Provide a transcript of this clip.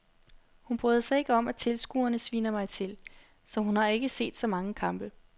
Hun bryder sig ikke om at tilskuerne sviner mig til, så hun har ikke set så mange kampe.